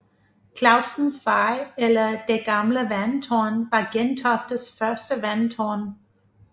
Clausens Vej eller Det gamle vandtårn var Gentoftes første vandtårn